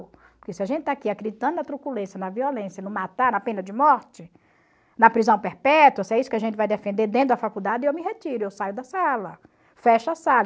Porque se a gente está aqui acreditando na truculência, na violência, no matar, na pena de morte, na prisão perpétua, se é isso que a gente vai defender dentro da faculdade, eu me retiro, eu saio da sala, fecho a sala.